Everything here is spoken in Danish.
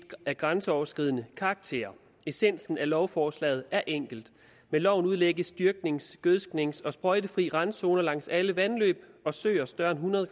af grænseoverskridende karakter essensen af lovforslaget er enkel med loven udlægges dyrknings gødsknings og sprøjtefri randzoner langs alle vandløb og søer større end hundrede